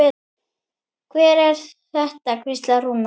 Hver er þetta? hvíslaði Rúna.